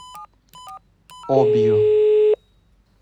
обью